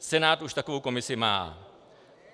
Senát už takovou komisi má.